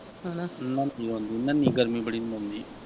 ਹੈਨਾ ਗਰਮੀ ਬੜੀ .